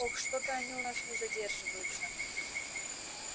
ох что-то они у нас не задерживаются